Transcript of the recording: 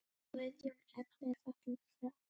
Guðjón Ebbi er fallinn frá.